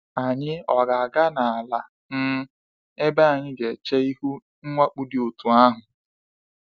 Anyị ọ ga aga n’ala um ebe anyị ga eche ihu mwakpo dị otú ahụ?